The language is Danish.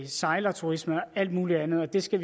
sejlerturisme og alt muligt andet og det skal